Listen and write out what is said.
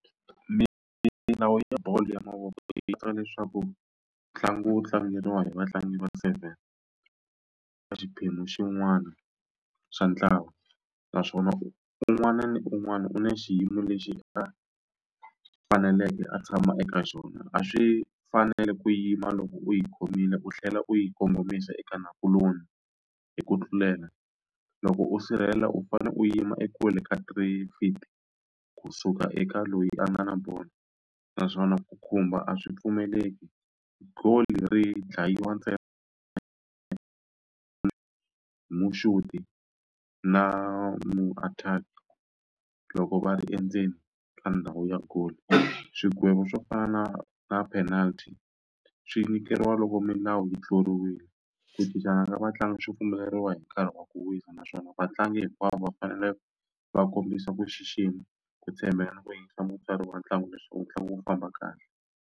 Milawu ya bolo ya mavoko leswaku ntlangu wu tlangiwa hi vatlangi va seven ka xiphemu xin'wana xa ntlawa naswona u un'wana na un'wana u na xiyimo lexi nga faneleke a tshama eka xona a swi fanele ku yima loko u yi khomile u tlhela u yi kongomisa eka nakuloni hi ku tlulela loko u sirhelela u fane u yima ekule ka tray fit kusuka eka loyi a nga na bolo naswona ku khumba a swi pfumeleki goal ri dlayiwa na mu-attack-i loko va ri endzeni ka ndhawu ya goal swigwevo swo fana na na penalt swi nyikeriwa loko milawu yi tluriwile ku cincana ka vatlangi swi pfumeleriwa hi nkarhi wa ku wisa naswona vatlangi hinkwawo va fanele va kombisa ku xixima ku tshembeka na ku yingisa wa ntlangu leswaku ntlangu wu famba kahle.